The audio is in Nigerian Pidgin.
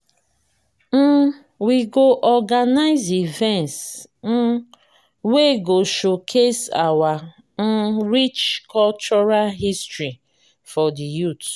um we go organize events um wey go showcase our um rich cultural history for the youth.